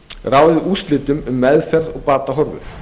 ráðið úrslitum um meðferð og batahorfur